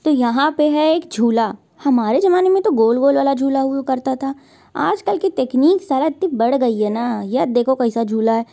तो यहाँ पे है एक झूला हमारे ज़माने में तो गोल-गोल वाला झूला हुआ करता था आज कल की तकनीक साला इतनी बड़ गयी है न यह देखो कैसा झूला है।